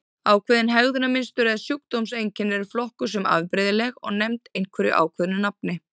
Ákveðin hegðunarmynstur eða sjúkdómseinkenni eru flokkuð sem afbrigðileg og nefnd einhverju ákveðnu nafni.